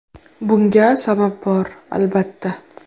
Bunga sabab bor albatta.